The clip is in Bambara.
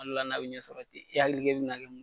Ma d'a la n'a be ɲɛ sɔrɔ ten, i hakili k'e be na kɛ mun